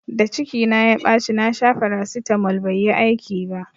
Da ciki na ya ɓaci na sha farasitamol bai yi aiki ba